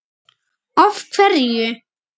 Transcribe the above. Hrund: Af hverju?